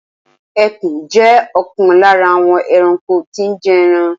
Ẹkùn jẹ́ ọ̀kan lára àwọn ẹranko tí ń jé ẹran.